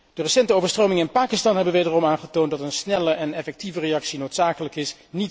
De recente overstromingen in Pakistan hebben wederom aangetoond dat een snelle en effectieve reactie noodzakelijk is.